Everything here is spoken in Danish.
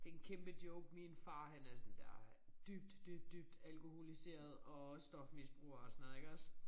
Det en kæmpe joke min far han er sådan der dybt dybt dybt alkoholiseret og stofmisbruger og sådan noget iggås